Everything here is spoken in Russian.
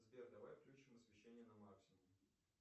сбер давай включим освещение на максимум